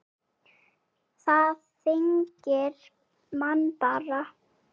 Það þyngir mann bara.